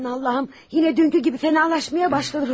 Allahım, yenə dünənki kimi fənalaşmaya başladı, Rodiyo.